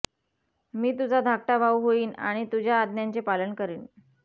मी तुझा धाकटा भाऊ होईन आणि तुझ्या आज्ञांचे पालन करीन